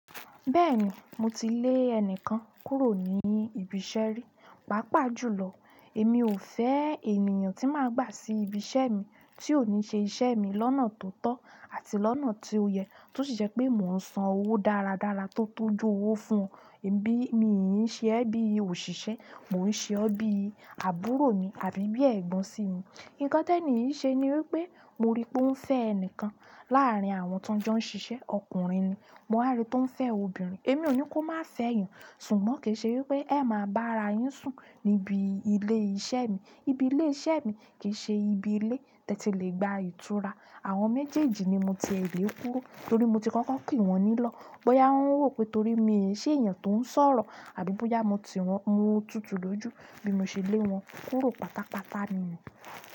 Bẹ́ẹ̀ni, mo ti lé ẹnìkan kúrò ní ibi iṣẹ́ rí. Pàápàá jùlọ, èmi ò fẹ́ ènìyàn tí máa gbà sí ibi iṣẹ́ mi tí ò ní ṣe iṣẹ́ mi lọ́nà tó tọ́ àti lọ́nà tí ó yẹ, tí ó sì ṣe pé mò ń san owó dáradára tó tọ́jú owó fún un. Bí mii ṣe ẹ́ bí òṣìṣẹ́, mò ń ṣe ọ́ bí àbúrò mi àbí bí ẹ̀gbọ́n sì mi. Nǹkan tí ènì yìí ṣe ni wípé mo rí pé ó ń fẹ́ ẹni kan láàrín àwọn tó ń jọ ń ṣiṣẹ́. Ọkùnrin ni, mo rí i tó ń fẹ́ obìnrin. Èmi ò ní kó má fẹ́yàn, ṣùgbọ́n kì í ṣe wípé ẹ máa bá ara yín sùn níbi ilé iṣẹ́ mi. Ibi ilé iṣẹ́ mi kì í ṣe ibi ilé tí ẹ ti lè gba ìtura. Àwọn méjèèjì ni mo ti è lé kúrò torí mo ti kankan pè wọ́n nílọ̀. Bóyá wọ́n rò pé torí mi ò ṣe èèyàn tó ń sọ̀rọ̀ àbí bóyá mo tiwon, mo tutù lójú bí mo ṣe léwọn kúrò pátápátá ni.